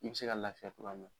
Ni bɛ se ka n lafiya togoya min na.